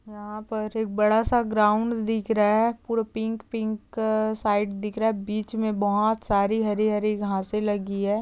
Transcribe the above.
यहा पर एक बड़ा सा ग्राउंड दिख रहा है पूरा पिंक पिक साइड दिख रहा बीच मे बहुत सारी हरी-हरी घास लगी है।